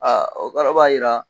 o kɔrɔ b'a jira